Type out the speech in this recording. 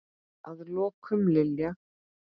Að lokum, Lilja.